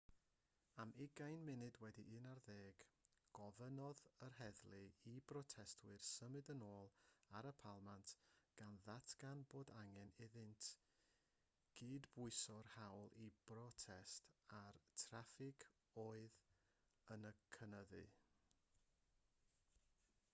am 11:20 gofynnodd yr heddlu i'r protestwyr symud yn ôl ar y palmant gan ddatgan bod angen iddynt gydbwyso'r hawl i brotest â'r traffig oedd yn cynyddu